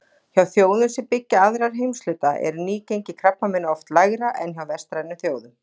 Hjá þjóðum sem byggja aðra heimshluta er nýgengi krabbameina oft lægra en hjá vestrænum þjóðum.